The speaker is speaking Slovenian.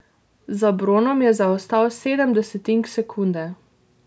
Za bronom je zaostal sedem desetink sekunde.